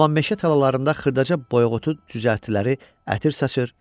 Amma meşə talalarında xırdaca boyğutu düzəltliləri ətir saçırdı,